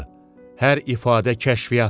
Hər ifadə kəşfiyyatdır.